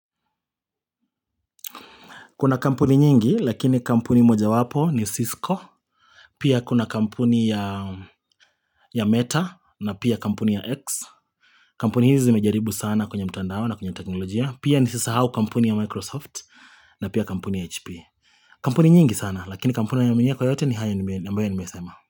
Kuna kampuni nyingi, lakini kampuni mojawapo ni Cisco. Pia kuna kampuni ya Meta na pia kampuni ya X. Kampuni hizi zimejaribu sana kwenye mtandao na kwenye teknolojia. Pia nisisahau kampuni ya Microsoft na pia kampuni ya HP. Kampuni nyingi sana, lakini kampuni ninayoiaminia kwa yote ni hayo ambayo nimesema.